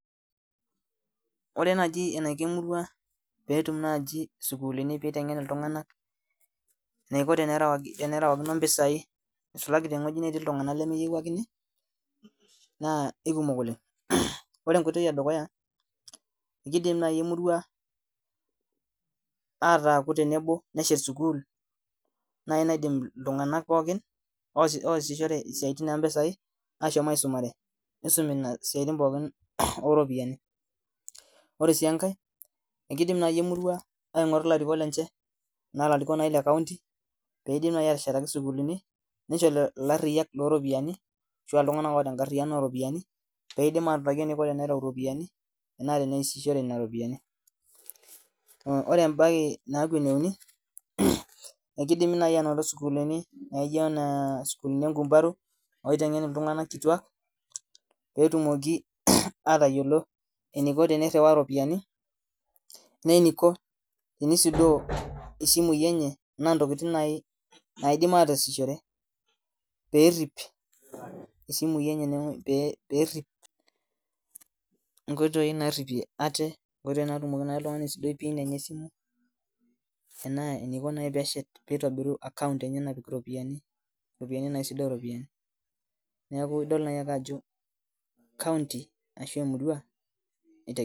Ore najibeniko emurua petum isukulini naitengen ltunganak enaiko perewakino mpisai isulaki tewoi natii ltunganak lemeyiewuakini na kekumok oleng ore enkoitoi edukuya kidilm nai emurua neshet sukul nejing ltunganak pooki oasishore isiatin ompisai ashomo aisumare nisumi siatin pooki oropiyiani ore si enkae kidim nai emurua aingoru larikok lenye pelaki sukuluni nisho lariyak loropiani pidim autaki eniko tenitau ropiyani oteneasishore ropiyani ore embae naauku eneuni akeidimi nai ainoto kuna sukulini naijo sukulini enkumbaru peitengen ltunganak petumoki atayiolo eniko peiriwa ropiyani we eniko peisujaa tokitin naji mataasiahore perip isimui enye perit nkoitoi naripie ate nkoitoi natumoki oltungani atoripie pin esimu enaa eniko Peshet neaku idol ake ajo kaunti ashu emurua itegemea.